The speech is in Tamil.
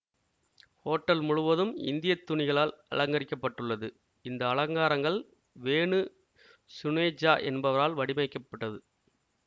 ஹோட்டல் முழுவதும் இந்திய துணிகளால் அலங்கரிக்கப்பட்டுள்ளது இந்த அலங்காரங்கள் வேணு சுனேஜா என்பவரால் வடிவமைக்கப்பட்டது